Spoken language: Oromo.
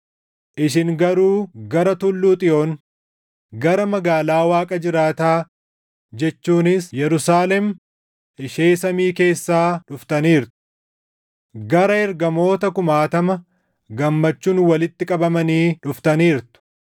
Isin garuu gara Tulluu Xiyoon, gara magaalaa Waaqa jiraataa jechuunis Yerusaalem ishee samii keessaa dhuftaniirtu. Gara ergamoota kumaatama gammachuun walitti qabamanii dhuftaniirtu;